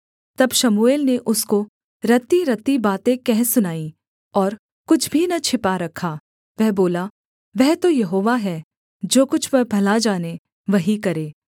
तब शमूएल ने उसको रत्तीरत्ती बातें कह सुनाईं और कुछ भी न छिपा रखा वह बोला वह तो यहोवा है जो कुछ वह भला जाने वही करे